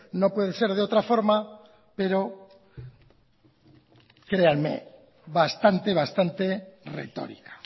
no puede ser de otra forma pero créanme bastante bastante retórica